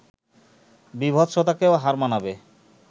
বীভৎসতাকেও হার মানাবে